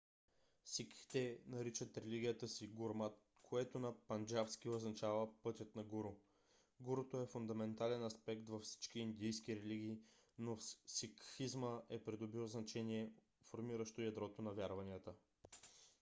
сикхите наричат религията си гурмат което на панджабски означава пътят на гуру . гуруто е фундаментален аспект във всички индийски религии но в сикхизма е придобил значение формиращо ядрото на вярванията